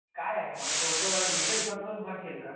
हे काय आहे मला थोडंस डिटेल समजावून सांगशील का